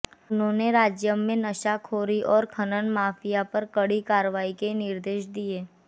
उन्होंने राज्य में नशाखोरी और खनन माफिया पर कड़ी कार्रवाई के निर्देश दिए